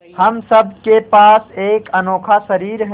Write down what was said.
हम सब के पास एक अनोखा शरीर है